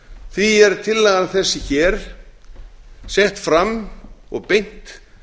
því er tillagan þessi hér sett fram og beint